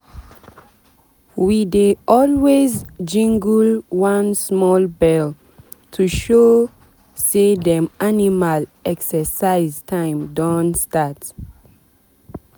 we dey always jingle one small bell to show say dem animal exercise time don start.